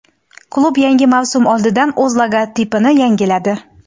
Klub yangi mavsum oldidan o‘z logotipini yangiladi.